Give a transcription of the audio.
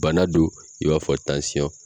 Bana do i b'a fɔ